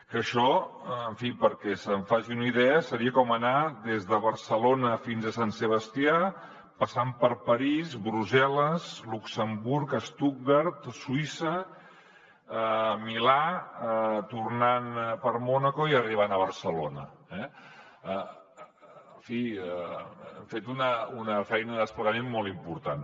que això en fi perquè se’n facin una idea seria com anar des de barcelona fins a sant sebastià passant per parís brussel·les luxemburg stuttgart suïssa milà tornant per mònaco i arribant a barcelona eh en fi hem fet una feina de desplegament molt important